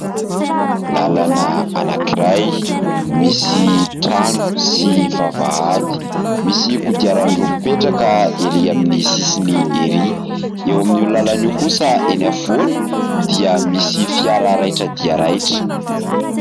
Lalana anankiray, misy trano sy vavahady. Misy kodiaran-droa mipetraka erỳ amin'ny sisiny erỳ. Eo amin'io lalana io kosa eny afovoany dia misy fiara raitra dia raitra.